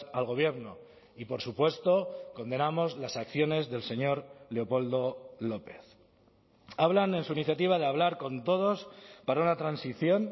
al gobierno y por supuesto condenamos las acciones del señor leopoldo lópez hablan en su iniciativa de hablar con todos para una transición